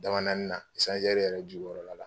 Dabanaani na yɛrɛ jukɔrɔla la